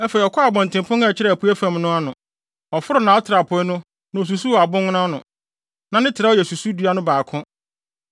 Afei ɔkɔɔ abɔntenpon a ɛkyerɛ apuei fam no ano. Ɔforoo nʼatrapoe no na osusuw abobow ano no, na ne trɛw yɛ susudua no baako.